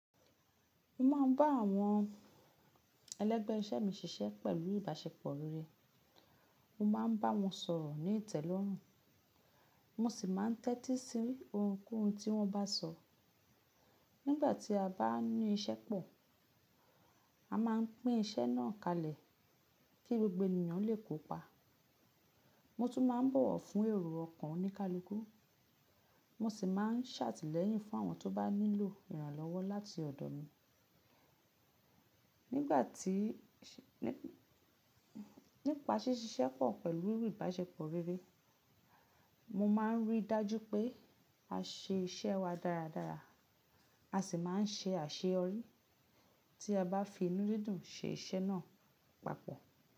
Mo ma n ba awon elegbe ise mi sise pelu ibasepo rere, mo ma n ba won soro ni itẹlorun, mo si ma n tẹti si ohunkohun ti won ba so. Nigbati a ba ni ise po, a ma n pin ise naa kalẹ ki gbogbo eniyan le kopa, mo tu ma n bọwọ fun ero ọkan onikaluku, mo si ma n ṣatẹlẹyin fun awon to ba nilo iranlọwọ lati ọdọ mi. Nipa ṣiṣẹ po pelu ibasepo rere, mo ma n ri daju pe a se ise wa daradara, a si ma n ṣe aṣeyọri ti a ba fi inudidu se ise naa papọ.